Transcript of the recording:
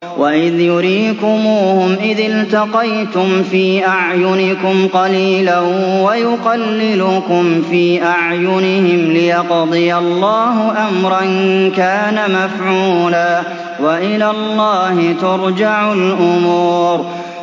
وَإِذْ يُرِيكُمُوهُمْ إِذِ الْتَقَيْتُمْ فِي أَعْيُنِكُمْ قَلِيلًا وَيُقَلِّلُكُمْ فِي أَعْيُنِهِمْ لِيَقْضِيَ اللَّهُ أَمْرًا كَانَ مَفْعُولًا ۗ وَإِلَى اللَّهِ تُرْجَعُ الْأُمُورُ